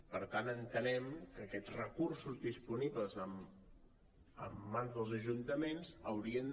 per tant entenem que aquests recursos disponibles en mans dels ajuntaments haurien